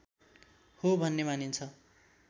हो भन्ने मानिन्छ